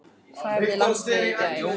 Hvar æfði landsliðið í gær?